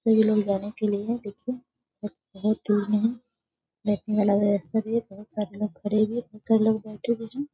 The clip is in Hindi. सभी लोग जाने के लिए पीछे ब बहुत दूर में हैं। बैठने वाला व्यवस्था भी है। बहुत सारे लोग खड़े हुए बहुत सारे लोग बैठे हुए हैं।